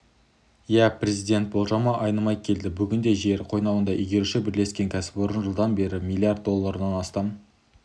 ия президент болжамы айнымай келді бүгінде жер қойнауын игеруші бірлескен кәсіпорын жылдан бері миллиард долларынан астам